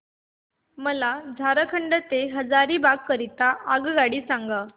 मला झारखंड से हजारीबाग करीता आगगाडी सांगा